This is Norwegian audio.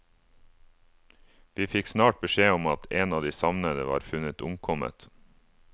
Vi fikk snart beskjed om at en av de savnede var funnet omkommet.